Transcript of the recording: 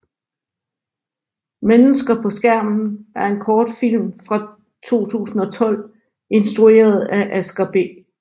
Mennesker på Skærmen er en kortfilm fra 2012 instrueret af Asger B